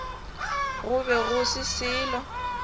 go be go se selo